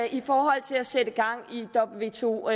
i forhold til at sætte gang i wto